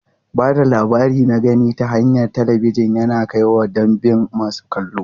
Ba da labari na gani ta hanyar talabijin yana kaiwa ga ɗimbin masu kallo.